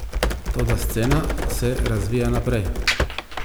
Toda scena se razvija naprej.